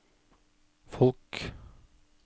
folk